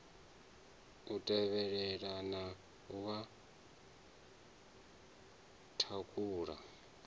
u tevhelelana na wa thakhula